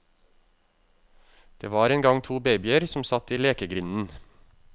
Det var en gang to babyer som satt i lekegrinden.